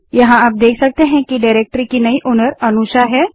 यहाँ हम देख सकते हैं कि अनुषा डाइरेक्टरी की नई ओनर है